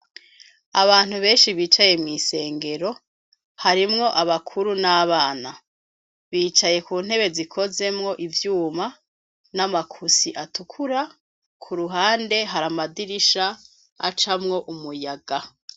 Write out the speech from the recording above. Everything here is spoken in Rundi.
Abantu benshi bicaye mw'isengero harimwo abakuru n'abana bicaye ku ntebe zikozemwo ivyuma n'amakusi atukura ku ruhande hari amadirisha acamwo umuyaga.